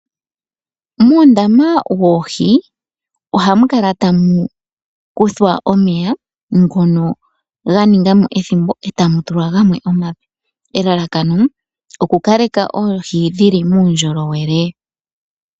Muundama woohi ohamukala tamu kuthwa omeya ngono ga ningamo ethimbo, etamu tulwa gamwe omape. Elalakano, oku kaleka oohi dhili muundjolowele.